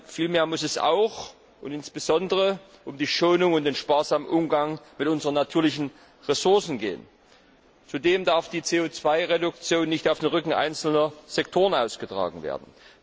Vielmehr muss es auch und insbesondere um die Schonung und den sparsamen Umgang mit unseren natürlichen Ressourcen gehen. Zudem darf die CO Reduktion nicht auf dem Rücken einzelner Sektoren ausgetragen werden.